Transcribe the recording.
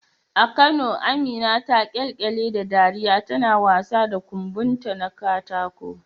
A Kano Amina ta kyalkyale da dariya tana wasa da kumbonta na katako.